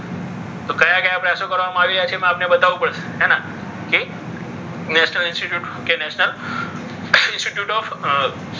કયા કયા પ્રયાસો કરવામાં આવી રહ્યા છે? એ આપને બતાવવું પડશે હે ને એ national institute national institute of